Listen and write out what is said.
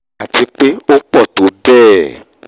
àti pé ó pọ̀ tó bẹ́ẹ̀